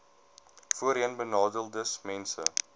voorheenbenadeeldesmense